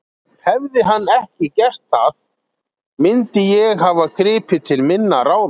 Hefði hann ekki gert það mundi ég hafa gripið til minna ráða.